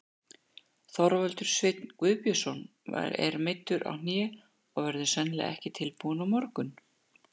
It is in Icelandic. Þorvaldur Sveinn Guðbjörnsson er meiddur á hné og verður sennilega ekki tilbúinn á morgun.